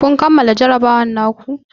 Kun kammala jarrabawar ku?